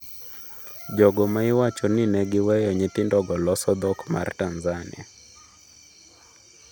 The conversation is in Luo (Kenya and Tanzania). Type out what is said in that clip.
Jogo ma iwacho ni ne giweyo nyithindo go loso dhok mar Tanzania